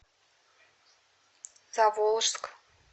заволжск